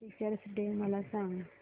teachers day मला सांग